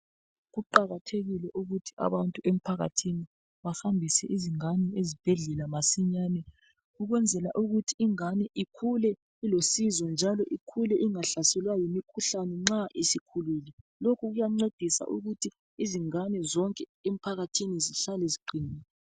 Kuqakathekile ukuthi abantu emphakathini bahambise izingane ezibhedlela masinyane. Ukwenzela ukuthi ingane ikhule ilosizo, njalo ikhule ingahlaselwa yimikhuhlane nxa isikhululile. Lokhu kuyancedisa ukuthi izingane zonke emphakathini zihlale ziqinile.